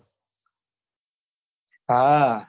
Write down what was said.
હા